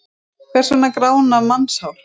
Hvers vegna grána mannshár?